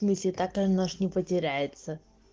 всмысле тоталь может не потеряется